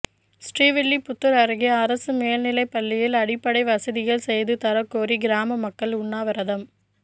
ஸ்ரீவில்லிபுத்தூா் அருகே அரசு மேல்நிலைப் பள்ளியில் அடிப்படை வசதிகள் செய்து தரக் கோரி கிராம மக்கள் உண்ணாவிரதம்